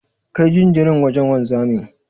Kai jinjirin wajen wanzamin.